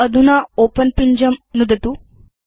अधुना ओपेन पिञ्जं नुदतु